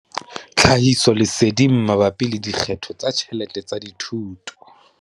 Tlhahisoleseding mabapi le dikgetho tsa ditjhelete tsa thuto.